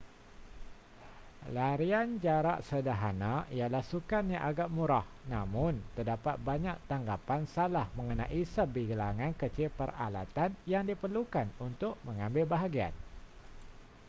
larian jarak sederhana ialah sukan yang agak murah namun terdapat banyak tanggapan salah mengenai sebilangan kecil peralatan yang diperlukan untuk mengambil bahagian